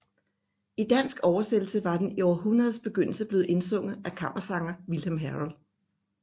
I dansk oversættelse var den i århundredets begyndelse blevet indsunget af kammersanger Vilhelm Herold